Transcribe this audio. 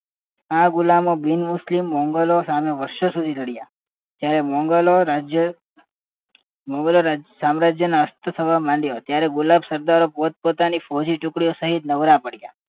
આ ગુલામો બિન મુસ્લિમ મોગલો સામે વર્ષો સુધી લડ્યા ત્યારે મોગલ રાજ્ય મોગલ રાજ્ય સામ્રાજ્યનો અસ્ત થવા માંડ્યું ત્યારે ગુલાબ સત્રો પોતપોતાની ફોજી ટુકડી સહિત નવરા પડીયા